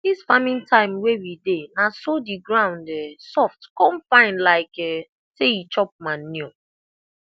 this farming time wey we dey na so the ground um soft come fine like um say e chop manure